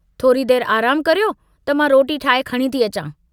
थोरी देर आरामु करियो त मां रोटी ठाहे खणी थी अचां।